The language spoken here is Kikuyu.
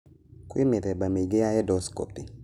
Kwĩ mĩthemba mĩingĩ ya endoscopy.